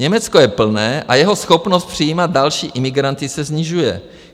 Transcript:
Německo je plné a jeho schopnost přijímat další imigranty se snižuje.